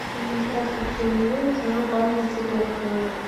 здравствуйте мне нужна ваза для цветов в номер